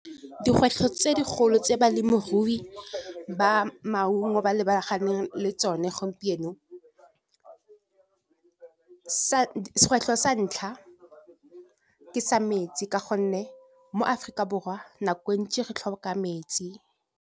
Dikgwetlho tse dikgolo tse balemirui ba maungo ba lebaganeng le tsone gompieno sa ntlha ke sa metsi ka gonne mo Aforika Borwa nako ntsi re tlhoka metsi.